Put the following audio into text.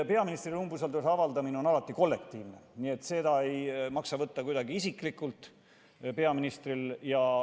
Peaministrile umbusalduse avaldamine on alati kollektiivne, nii et seda ei maksa peaministril võtta kuidagi isiklikult.